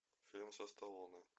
фильм со сталлоне